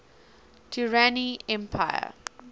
durrani empire